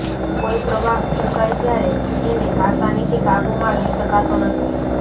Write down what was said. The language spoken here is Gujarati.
કોઈ પ્રવાહ ફૂંકાય ત્યારે એને આસાનીથી કાબૂમાં લઈ શકાતો નથી